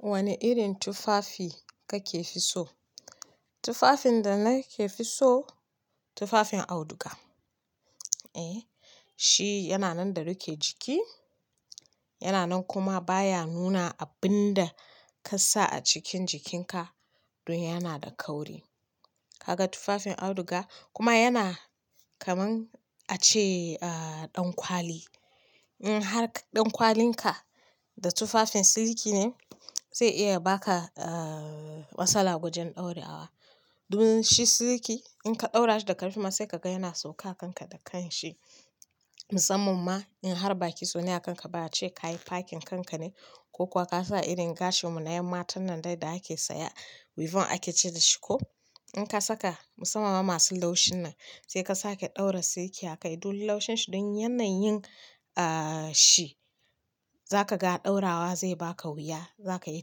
Wane irin tufafi kake so? Tufafin da nake so tufafin auduga. Eh, shi yana nan da rike jiki, yana nan kuma baya nuna abin da ka sa a cikin jikinka. Dun yana da kauri. Ka ga tufafin auduga kuma yana kamar ace ɗankwali. In har ɗankwalin ka da tufafin siliki ne zai iya baka a-a-a matsala wajen ɗaurawa. Dun shi siliki in ka ɗaura shi da karfi ma sai ka ga yana sauka kanka da kanshi. Musamman ma in har baki so ne a kanka baya ce ka yi fakin kanka ne ko kuwa ka sa irin gashin mu na yamma ta nan dai da ake saya, weaving ake ce da shi ko. In ka saka musamman ma masu laushin nan sai ka sake ɗaura siliki a kai. Dun laushin shi don yanayin a-a-a shi za ka ga ɗaurawa zai baka wuya. Za ka yi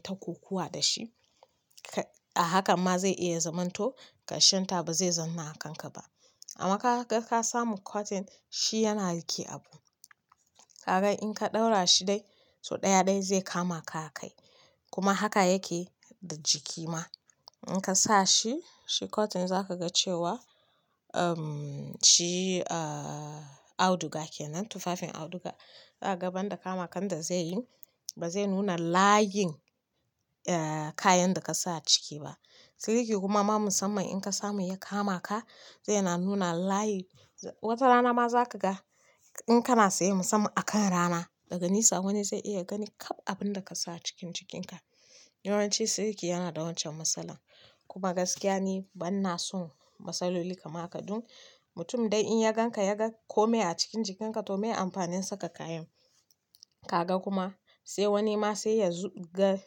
takokowa da shi. Ka a hakan ma zai iya zamanto ƙarshen ta ba zai zanna a kanka ba. Amma ka ga ka samu cotton shi yana rike abu. Ka ga in ka ɗaura shi dai, so ɗaya dai zai kama ka a kai. Kuma haka yake da jiki ma in ka sa shi, shi cotton za ka ga cewa uhm shi a-a-a auduga kenan tufafin auduga. Za ka ga ban da kama kan da zai yi ba zai nuna layin a kayan da ka sa ciki ba. Siliki kuma ma musamman in ka samu ya kama ka zai na nuna layin. Wata rana ma za ka ga in kana tsaye musamman a kan rana daga nesa wani zai iya gani kab abin da ka sa a cikin jikinka. Yawanci siliki yana da wancan matsalan. Kuma gaskiya ni bana son matsaloli kama ka dun mutum dai in ya gan ka, ya ga kome a cikin jikinka toh me amfanin saka kayan? Ka ga kuma sai wani ma sai ya zub ga--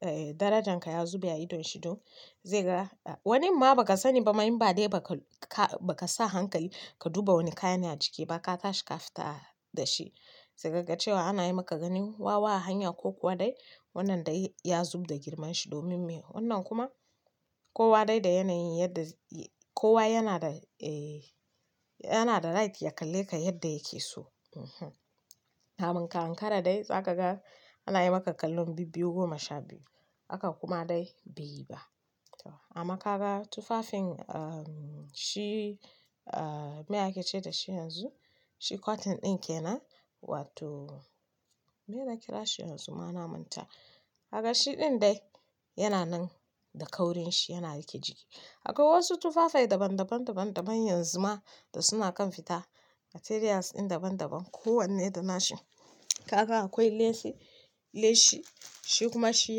eh darajan ka ya zube a idon shi dun zai ga. Wani ma ba ka sani ba ma in ba dai ba ka-ka ba ka sa hankali ka duba wani kayan a jiki ba ka tashi ka fita da shi sai ka ga cewa ana yi maka ganin wawa a hanya ko kuwa dai wannan dai ya zub da girman shi domin me wannan kuma kowa dai da yanayin yadda y-kowa yana da eh yana da right ya kalle ka yadda yake so. Mhm. Kamun ka ankara dai za ka ga ana yi maka kallon bibbiyu goma sha biyu. Haka kuma dai ba yi ba. To amma ka ga tufafin a-a-a shi a-a-a me ake ce da shi yanzu? Shi cotton ɗin kenan wato me na kira shi yanzu ma na manta. Ka ga shi ɗin dai yana nan da kaurin shi, yana rike jiki. Akwai wasu tufafai daban-daban, daban-daban yanzu ma da suna kan fita materials ɗin daban-daban. Ko wanne da nashi. Ka ga akwai lace, lace shi kuma shi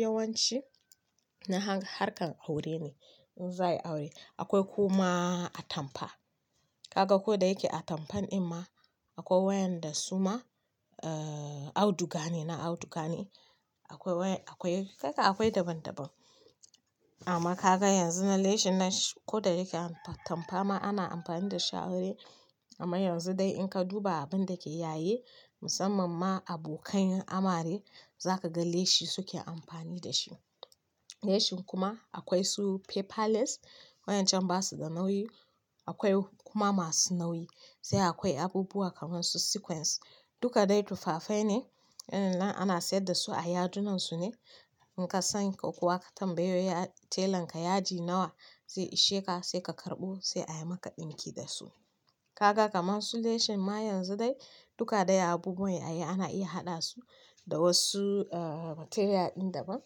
yawanci na har-harkar aure ne. In za a yi aure. Akwai kuma atampa. Ka ga ko da yake atampan ɗin ma akwai wayan da suma a-a-auduga ne, na auduga ne. Akwai way, akwai kai kan akwai daban daban, amma kaga yanzu na leshin nan koda yake atampa ma ana amfani dashi ai. Amman yanzu dai in ka duba abinda ke yayi. Musamman ma abokain amare zakaga leshi suke amfani dashi. Lashi kuma akwai su paper lace. Waƴancan basa da nauyi. Akwai kuma masu nauyi. Sai akwai abubuwa kamar su sequence. Duka dai tufafai ne. Nan ana sayar da su a yadunan su ne. In ka san ko kuwa ka tambayi tailanka yadi nawa zai ishe ka sai ka karɓo sai ayi maka ɗinki da su. Ka ga kamar su lashin ma yanzu dai duka dai abubuwan ai ana iya haɗa su da wasu a-a-a materials ɗin daban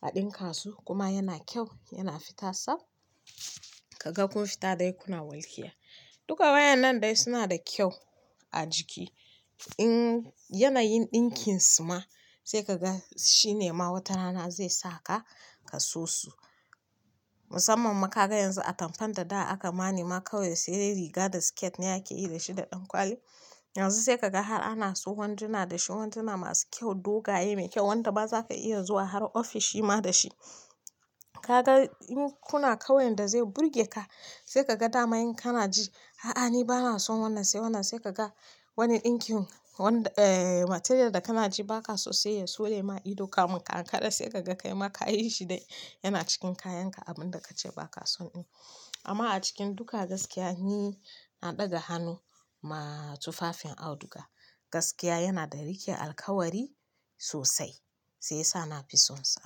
a ɗinka su kuma yana kyau, yana fita sab. Ka ga kun fita dai kuna walƙiya. Duka wayan nan dai suna da kyau a jiki. In yanayin ɗinkin su ma sai ka ga shi ne ma wata rana zai saka ka so su. Musamman ma ka ga yanzu atampan da da aka ma nema kawai sai dai riga da skirt ne ake yi da shi da ɗankwali. Yanzu sai ka ga har ana su wanduna da shi, wanduna masu kyau, dogaye mai kyau wanda ma za ka iya zuwa har ofishi ma da shi. Ka ga in kuna kauyan da zai burge ka sai ka ga dama in kana ji a'a ni bana son wannan sai wannan sai ka ga wani ɗinkin wan-- eh material da kana ji ba ka so sai ya sore ma ido. Ka mun ka ankara sai ka ga kai ma ka yi shi dai yana cikin kayan ka abin da ka ce ba ka son ɗin. Amma a cikin duka gaskiya, ni na ɗaga hannu ma tufafin auduga. Gaskiya yana da rike alkawari sosai. Shiyasa nafi son sa.